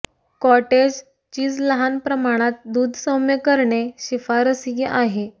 cottage cheese लहान प्रमाणात दूध सौम्य करणे शिफारसीय आहे